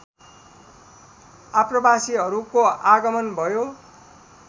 आप्रवासीहरूको आगमन भयो